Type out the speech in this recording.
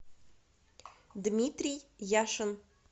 дмитрий яшин